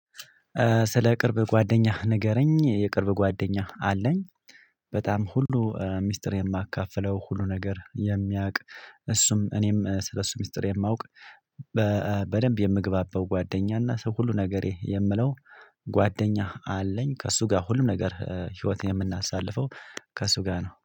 ስለ ቅርብ ጓደኛህ ንገረኝ የቅርብ ጓደኛህ አለኝ። በጣም ሁሉ ሚስጥር የማካፍለው ሁሉ ነገር የሚያውቅ እሱም እኔም ስለሱ ሚስጥር የማውቅ በደንብ የምግባባው ጓደኛ እና ሰው ሁሉ ነገሬ የምለው ጓደኛህ አለኝ። ከእሱ ጋር ሁሉም ነገር ህይወት የምናሳልፈው ከእሱ ጋር ነው።